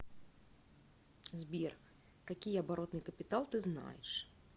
сбер какие оборотный капитал ты знаешь